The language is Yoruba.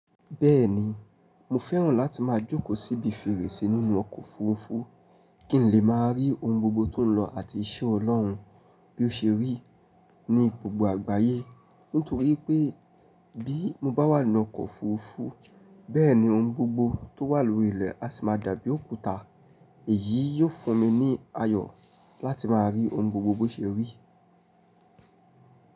Bẹ́ẹ̀ ni mo fẹ́ràn láti máa jókòó síbi fèrèsé nínú ọkọ̀ òfurufú kín lè máa rí oun gbogbo tó ń lọ àti iṣẹ́ Ọlọ́run bí ó ṣe rí ní gbogbo àgbáyé nítorí pé bí mo bá wà nínú ọkọ̀ òfurufú, bẹ́ẹ̀ni ohun gbogbo tó wà lórí ilẹ̀ a sì máa dàbí òkúta. Èyí yóò fún mi ní ayọ̀ láti máa rí ohun gbogbo bí ó ṣe rí.